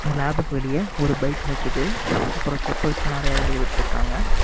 இந்த லேப்க்கு வெளிய ஒரு பைக் நிக்குது அப்ரோ செப்பால்ஸ்லாம் நறிய வெளிய விட்டுஇருகாங்க.